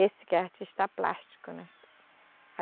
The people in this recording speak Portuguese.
Esse que é artista plástico, né?